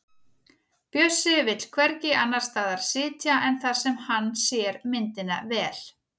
Bjössi vill hvergi annars staðar sitja en þar sem hann sér myndina vel.